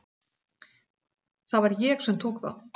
Það var ég sem tók þá.